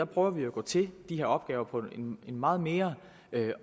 prøver vi jo at gå til de her opgaver på en meget mere